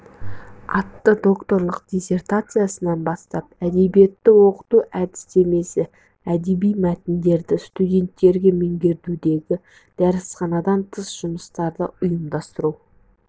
атты докторлық диссертациясынан бастап әдебиетті оқыту әдістемесі әдеби мәтіндерді студенттерге меңгертудегі дәрісханадан тыс жұмыстарды ұйымдастыру